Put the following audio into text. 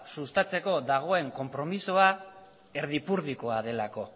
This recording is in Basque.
sustatzeko dagoen konpromisoa erdipurdikoa delako